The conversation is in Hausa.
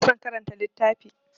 Ba na son karanta littafi.